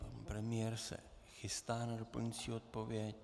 Pan premiér se chystá na doplňující odpověď.